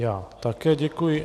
Já také děkuji.